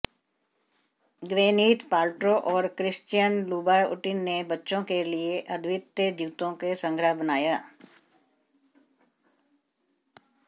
Gwyneth Paltrow और Christian Louboutin ने बच्चों के लिए अद्वितीय जूते का संग्रह बनाया